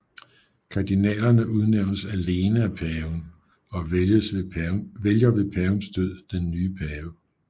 Kardinalerne udnævnes alene af paven og vælger ved pavens død den nye pave